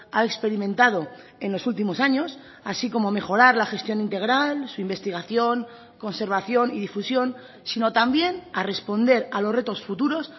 ha experimentado en los últimos años así como mejorar la gestión integral su investigación conservación y difusión sino también a responder a los retos futuros